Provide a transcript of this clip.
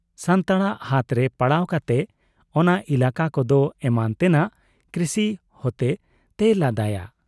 ᱥᱟᱱᱛᱟᱲᱟᱜ ᱦᱟᱛᱨᱮ ᱯᱟᱲᱟᱣ ᱠᱟᱛᱮ ᱚᱱᱟ ᱮᱞᱠ ᱠᱚᱫᱚ ᱮᱢᱟᱱ ᱛᱮᱱᱟᱜ ᱠᱨᱤᱥᱤ ᱦᱚᱛᱮ ᱛᱮᱭ ᱞᱟᱸᱫᱟᱭᱟ ᱾